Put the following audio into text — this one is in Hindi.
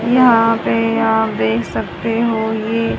यहां पे आप देख सकते हो ये--